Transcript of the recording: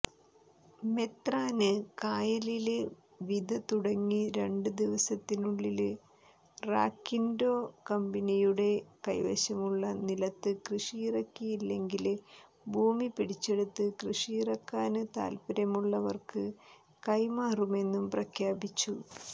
മെത്രാന്കായലില് വിതതുടങ്ങി രണ്ട് ദിവസത്തിനുള്ളില് റാക്കിന്ഡോ കമ്പനിയുടെ കൈവശമുള്ള നിലത്ത് കൃഷിയിറക്കിയില്ലെങ്കില് ഭൂമി പിടിച്ചെടുത്ത് കൃഷിയിറക്കാന് താത്പര്യമുള്ളവര്ക്ക് കൈമാറുമെന്നും പ്രഖ്യാപിച്ചു